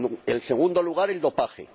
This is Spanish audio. En segundo lugar, el dopaje.